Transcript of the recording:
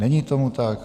Není tomu tak.